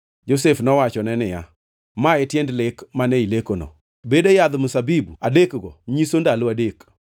Josef nowachone niya, “Ma e tiend lek mane ilekono. Bede yadh mzabibu adekgo nyiso ndalo adek.